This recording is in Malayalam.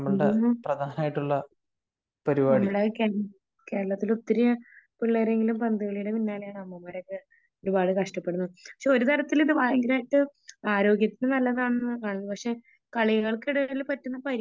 നമ്മുടെ കേരളത്തില് ഒത്തിരി പിള്ളേരെങ്കിലും പന്തുകളിയുടെ പിന്നാലെയാണ് . അവന്മാരൊക്ക ഒരുപാട് കഷ്ടപ്പെടുന്നുണ്ട് . പക്ഷേ ഒരു തരത്തിൽ ഇത് ഭയങ്കരായിട്ട് ആരോഗ്യത്തിന് നല്ലതാണെന്ന് കാണുന്നു . പക്ഷേ കളികളക്കിടയിൽ പറ്റുന്ന പരിക്കുകൾ